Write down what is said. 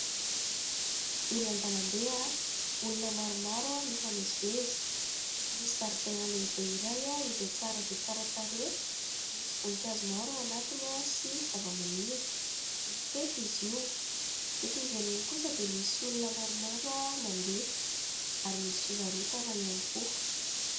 Eny an-dàlambe, olona maromaro mifamezivezy. Misy zaridaina lehibe iray izay tsara dia tsara tarehy. Misy voninkazo maro ao anatiny sy zavamaniry. Mifefy izy io, etỳ ivelany kosa dia misy olona maromaro mandeha ary misy fivarotana ihany koa.